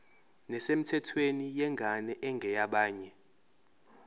nesemthethweni yengane engeyabanye